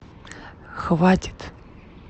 хватит